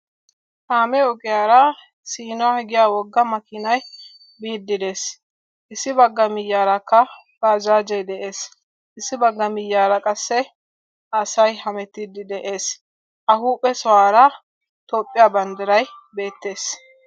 Kaamee ogiyaara siino diya wogga makkiinay biidi dees, issi bagga miyiyaarakka bajjaajje dees, issi bagga miyiyaara qassi asay hemettiidi de"ees , a huphee sohuwara Toophphiya banddiray beettees.